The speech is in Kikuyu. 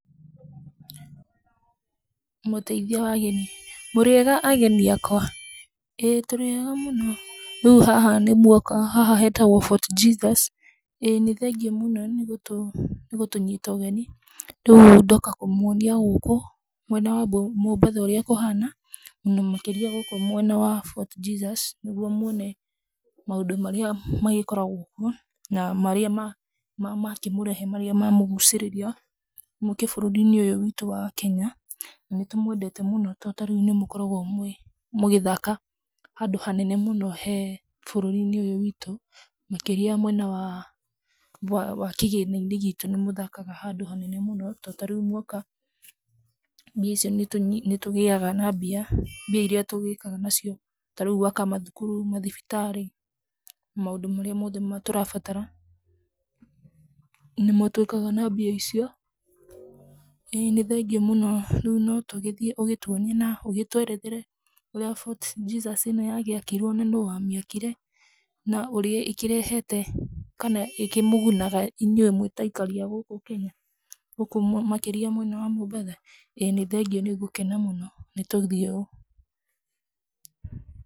Mũteithia wa ageni. Mũrĩega ageni akwa? ĩĩ tũrĩega mũno. Rĩu haha nĩ muoka, haha hetagwo Fort Jesus. ĩĩ nĩ thengiũ mũno nĩ gũtũnyita ũgeni. Rĩu ndoka kũmũonia gũkũ mwena wa Mombatha ũrĩa kũhana mũno makĩria gũkũ mwena wa Fort Jesus nĩguo muone maũndũ marĩa magĩkoragwo kuo na marĩa makĩmũrehe marĩa mamũgucĩrĩria mũke bũrũri-inĩ ũyũ witũ wa Kenya. Na nĩtũmwendete mũno to tarĩu nĩmũkoragwo mũgĩthaka handũ hanene mũno he bũrũri-inĩ ũyũ witũ, makĩria mwena wa kĩgĩna-inĩ gitũ nĩ mũthakaga handũ hanene mũno to tarĩu mwoka, mbia icio, nĩtũgĩaga na mbia, mbia iria tũgĩkaga nacio tarĩu gwaka mathukuru, mathibitarĩ, maũndũ marĩa mothe tũrabatara nĩmo twĩkaga na mbia icio. ĩĩ nĩ thengiũ muno, rĩu no tũgĩthiĩ ũgĩtuonie na ũgĩtwerethere ũrĩa Fort Jesus ĩno yagĩakirwo na nũũ wamĩakire na ũrĩa ĩkĩrehete kana ĩkĩmũgunaga inyuĩ mwĩ ta aikari a gũkũ Kenya, gũkũ makĩria mwena wa Mombatha. ĩĩ nĩ thengiũ nĩ ngũkena mũno, nĩ tũthiĩ ũũ.